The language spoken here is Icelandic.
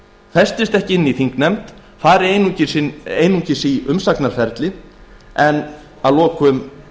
festist ekki í þingnefnd fari einungis í umsagnarferli en dagi að lokum